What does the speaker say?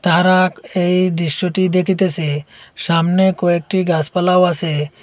তাহারা এই দৃশ্যটি দেখিতেসে সামনে কয়েকটি গাছপালাও আসে।